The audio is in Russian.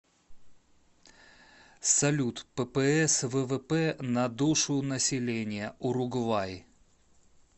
салют ппс ввп на душу населения уругвай